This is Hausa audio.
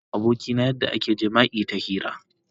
Na nuna wa abokina yadda ake yin jima'i ta hira.